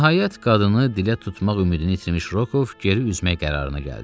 Nəhayət, qadını dilə tutmaq ümidini itirmiş Rokov geri üzmək qərarına gəldi.